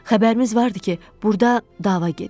Xəbərimiz vardı ki, burda dava gedir.